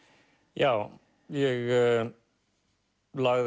já ég lagði